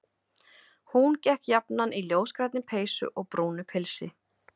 Hún gekk jafnan í ljósgrænni peysu og brúnu pilsi.